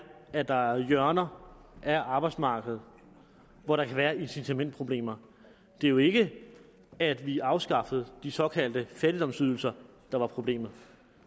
at der er hjørner af arbejdsmarkedet hvor der kan være incitamentproblemer det er jo ikke det at vi afskaffede de såkaldte fattigdomsydelser der er problemet